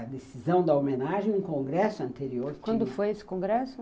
A decisão da homenagem, um congresso anterior... Quando foi esse congresso?